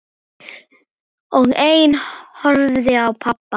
Meira verður til að koma.